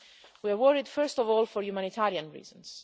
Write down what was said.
We are worried, first of all, for humanitarian reasons.